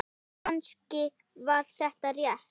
Kannski var þetta rétt.